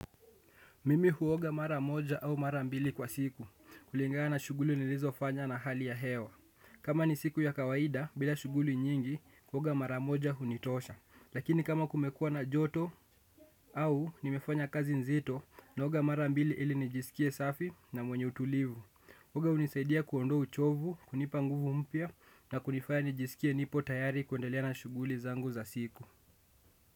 Mimi huoga mara moja au mara mbili kwa siku, kulingana shughuli nilizo fanya na hali ya hewa. Kama ni siku ya kawaida, bila shughuli nyingi, huoga mara moja hunitosha. Lakini kama kumekuwa na joto au nimefanya kazi nzito, naoga mara mbili ili nijisikie safi na mwenye utulivu. Kuoga unisaidia kuondoa uchovu, kunipa nguvu mpya na kunifanya nijisikie nipo tayari kuendelea na shughuli zangu za siku.